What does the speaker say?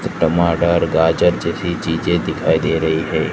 टमाटर गाजर जैसी चीजें दिखाई दे रही है।